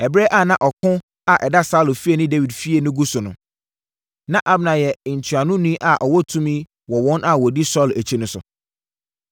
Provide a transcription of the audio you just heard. Ɛberɛ a na ɔko a ɛda Saulo fie ne Dawid fie no gu so no, na Abner yɛ ntuanoni a ɔwɔ tumi wɔ wɔn a wɔdi Saulo akyi no so.